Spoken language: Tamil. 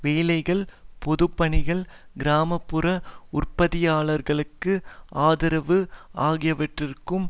வேலைகள் பொதுப்பணிகள் கிராம புற உற்பத்தியாளர்களுக்கு ஆதரவு ஆகியவற்றிற்கும்